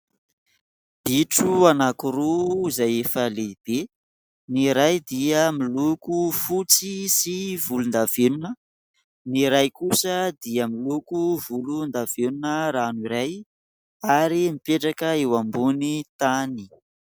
Bitro anakiroa izay efa lehibe. Ny iray dia miloko fotsy sy volondavenona ny iray kosa dia miloko volondavenona ranoray ary mipetraka eo ambony tany.